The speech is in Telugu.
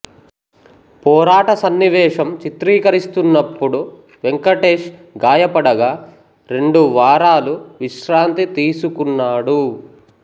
పోరాట సన్నివేశం చిత్రీకరిస్తున్నప్పుడు వెంకటేష్ గాయపడగా రెండు వారాలు విశ్రాంతి తీసుకున్నాడు